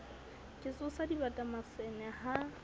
ke tsosa dibata masene ha